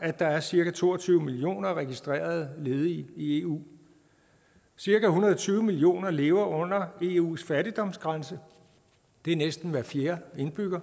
at der er cirka to og tyve millioner registrerede ledige i eu cirka en hundrede og tyve millioner lever under eus fattigdomsgrænse det er næsten hver fjerde indbygger